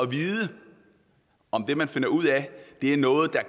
vide om det man finder ud af er noget der